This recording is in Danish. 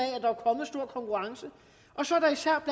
at konkurrence så er der især